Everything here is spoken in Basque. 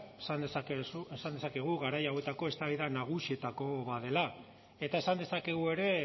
esan dezakegu garai hauetako eztabaida nagusietako bat dela eta esan dezakegu ere